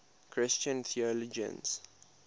christian theologians